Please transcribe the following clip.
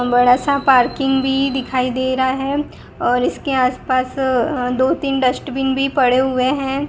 बड़ा सा पार्किंग भी दिखाई दे रहा है और इस के आसपास दो तीन डस्टबिन भी पड़े हुए है।